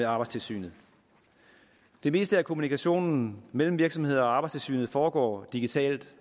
arbejdstilsynet det meste af kommunikationen mellem virksomheder og arbejdstilsynet foregår digitalt